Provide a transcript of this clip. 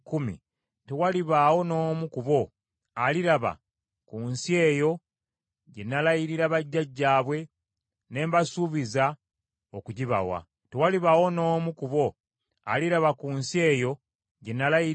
tewalibaawo n’omu ku bo aliraba ku nsi eyo gye nalayirira bajjajjaabwe ne mbasuubiza okugibawa. Tewalibaawo n’omu ku bo abannyoomye aligirabako.